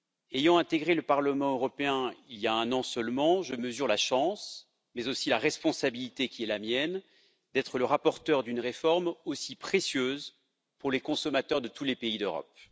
Ayant intégré le Parlement européen il y a un an seulement, je mesure la chance mais aussi la responsabilité qui est la mienne d'être le rapporteur d'une réforme aussi précieuse pour les consommateurs de tous les pays d'Europe.